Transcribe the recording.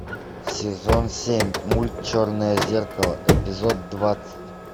сезон семь мульт черное зеркало эпизод двадцать